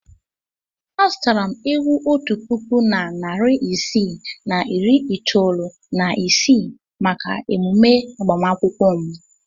Azụtara m ewu otu puku na narị isii na iri itoolu na ise maka emume agbamakwụkwọ m.